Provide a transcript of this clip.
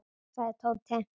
sagði Tóti.